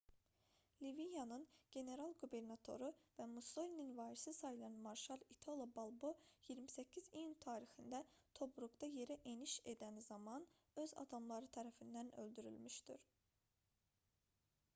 liviyanın general-qubernatoru və mussolinin varisi sayılan marşal i̇talo balbo 28 iyun tarixində tobruqda yerə eniş edən zaman öz adamları tərəfindən öldürülmüşdür